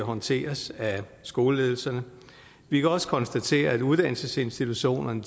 håndteres af skoleledelserne vi kan også konstatere at uddannelsesinstitutionerne